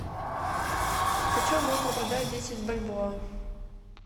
почем можно продать десять бальбоа